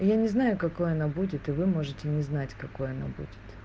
я не знаю какой она будет и вы можете не знать какой она будет